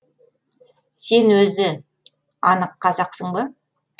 сен өзі анық қазақсың ба